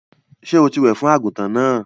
Sọ tí wẹ̀ fún àgùntàn náà?